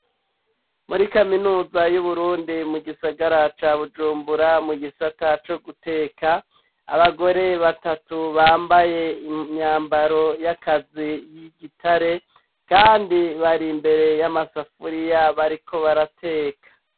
Muri kaminuza y'uburundi mu gisagara ca bujumbura mu gisata co guteka abagore batatu bambaye imyambaro y'akazi y'igitare kandi bari imbere y'amasafuriya bariko barateka.